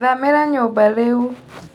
Thamĩra nyumba rĩu.